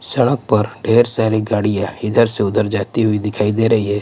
सड़क पर ढेर सारी गाड़ियां इधर से उधर जाती हुई दिखाई दे रही है.